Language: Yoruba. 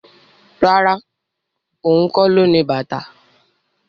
Rárá, ohun kó lo ní bàtà